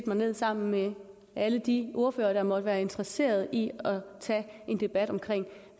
mig ned sammen med alle de ordførere der måtte være interesseret i at tage en debat om